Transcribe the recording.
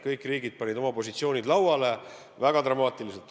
Kõik riigid panid oma positsioonid lauale väga dramaatiliselt.